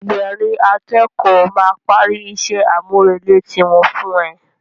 Ẹgbẹ̀rin a kẹ́kọ̀ọ́ máa parí ìṣe àmúrelé tí wọ́n fún ẹ